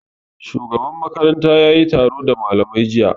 Shugaban makaranta yayi taro da malamai jiya